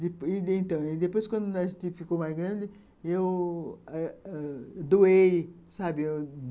E então, depois, quando nós ficou mais grande, eu ãh ãh doei, sabe?